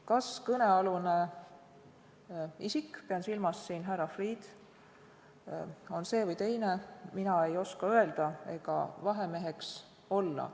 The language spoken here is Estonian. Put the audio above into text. Kas kõnealune isik, pean silmas härra Freeh'd, on see või teine, mina ei oska öelda ega vahemeheks olla.